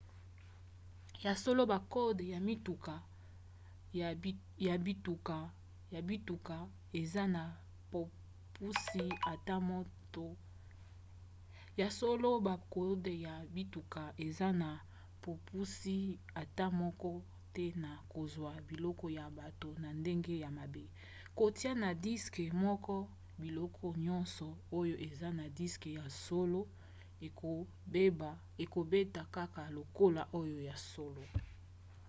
ya solo bakode ya bituka eza na bopusi ata moko te na kozwa biloko ya bato na ndenge ya mabe; kotia na diske moko biloko nyonso oyo eza na diske ya solo ekobeta kaka lokola oyo ya solo